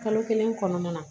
Kalo kelen kɔnɔna na